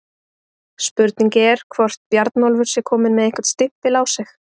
Spurning er hvort Bjarnólfur sé kominn með einhvern stimpil á sig?